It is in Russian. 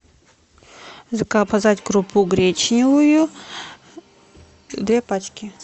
заказать крупу гречневую две пачки